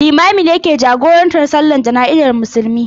Limamin ne yake jagorantar Sallar Jana'izar Musulmai.